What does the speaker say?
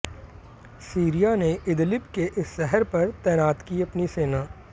Syria ने Idlib के इस शहर पर तैनात की अपनी सेना